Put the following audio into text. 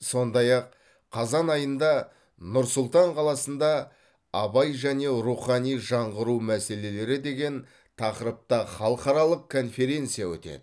сондай ақ қазан айында нұр сұлтан қаласында абай және рухани жаңғыру мәселелері деген тақырыпта халықаралық конференция өтеді